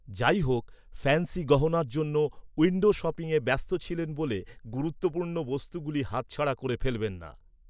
যাইহোক, ফ্যান্সি গহনার জন্য উইন্ডো শপিংয়ে ব্যস্ত ছিলেন বলে গুরুত্বপূর্ণ বস্তুগুলি হাত ছাড়া করে ফেলবেন না।